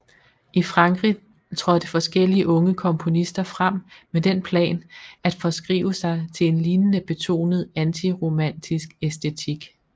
I Frankrig trådte forskellige unge komponister frem med den plan at forskrive sig til en lignende betonet antiromantisk æstetik